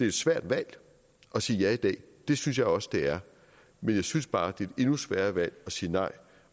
et svært valg at sige ja i dag det synes jeg også det er men jeg synes bare det er et endnu sværere valg at sige nej